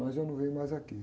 Mas eu não venho mais aqui.